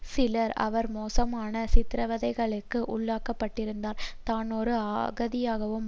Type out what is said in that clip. சிறையில் அவர் மோசமான சித்திரவதைகளுக்கு உள்ளாக்கப்பட்டிருந்தார் தான் ஒரு அகதியாகவும்